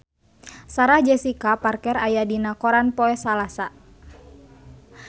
Sarah Jessica Parker aya dina koran poe Salasa